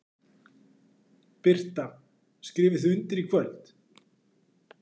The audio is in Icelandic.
Birta: Skrifið þið undir í kvöld?